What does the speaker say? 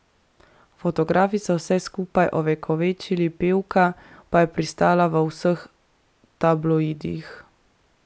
Fotografi so vse skupaj ovekovečili, pevka pa je pristala v vseh tabloidih.